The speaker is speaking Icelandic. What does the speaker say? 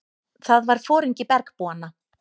Það var foringi bergbúanna.